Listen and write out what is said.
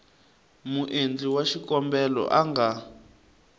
muendli wa xikombelo a nga